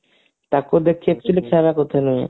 ତାକୁ ଦେଖିକି actually ଖାଇବାକୁ ଇଚ୍ଛା ନାହିଁ